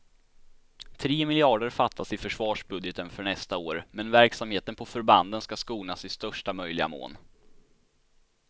Tre miljarder fattas i försvarsbudgeten för nästa år, men verksamheten på förbanden ska skonas i största möjliga mån.